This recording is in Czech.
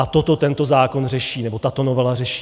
A toto tento zákon řeší, nebo tato novela řeší.